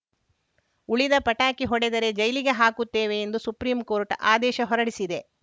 ಉಳಿದ ಪಟಾಕಿ ಹೊಡೆದರೆ ಜೈಲಿಗೆ ಹಾಕುತ್ತೇವೆ ಎಂದು ಸುಪ್ರೀಂಕೋರ್ಟ್‌ ಆದೇಶ ಹೊರಡಿಸಿದೆ